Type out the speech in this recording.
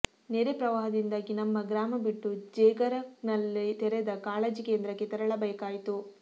ನೆರೆ ಪ್ರವಾಹದಿಂದಾಗಿ ನಮ್ಮ ಗ್ರಾಮ ಬಿಟ್ಟು ಜೇಗರಕಲ್ನಲ್ಲಿತೆರೆದ ಕಾಳಜಿ ಕೇಂದ್ರಕ್ಕೆ ತೆರಳಬೇಕಾಯಿತು